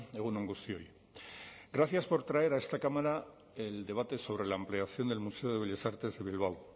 egun on guztioi gracias por traer a esta cámara el debate sobre la ampliación del museo de bellas artes de bilbao